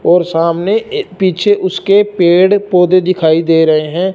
और सामने ए पीछे उसके पेड़ पौधे दिखाई दे रहे है।